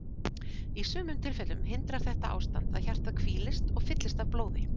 Í sumum tilfellum hindrar þetta ástand að hjartað hvílist og fyllist af blóði.